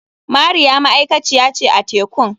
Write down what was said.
Mariya ma'aikaciya ce a tekun.